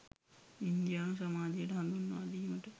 ඉන්දියානු සමාජයට හඳුන්වාදීමට